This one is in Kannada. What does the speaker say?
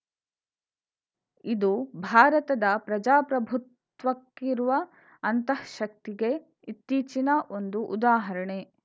ಇದು ಭಾರತದ ಪ್ರಜಾಪ್ರಭುತ್ವಕ್ಕಿರುವ ಅಂತಃಶಕ್ತಿಗೆ ಇತ್ತೀಚಿನ ಒಂದು ಉದಾಹರಣೆ